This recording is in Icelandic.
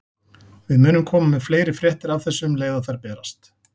Við munum koma með fleiri fréttir af þessu um leið og þær berast.